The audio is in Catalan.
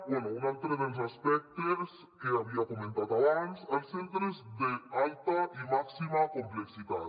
bé un altre dels aspectes que havia comentat abans els centres d’alta i màxima complexitat